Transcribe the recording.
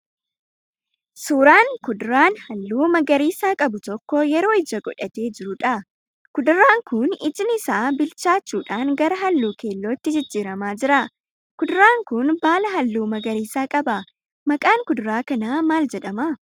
Suuraan kuduraan halluu magariisa qabu tokko yeroo ija godhatee jiruudha. Kuduraan kun ijni isaa bilchaachuun gara halluu keellootti jijjiramaa jira. Kuduraan kun baala halluu magariisaa qaba. maqaan kuduraa kanaa maal jedhama?